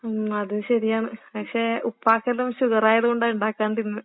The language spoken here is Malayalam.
ഉം അതും ശെരിയാണ്. പക്ഷേ ഉപ്പാക്കെല്ലാം ഷുഗറായത് കൊണ്ടാ ഇണ്ടാക്കാണ്ടിരുന്നെ.